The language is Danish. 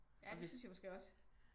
Ja det synes jeg måske også